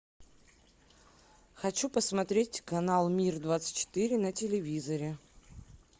хочу посмотреть канал мир двадцать четыре на телевизоре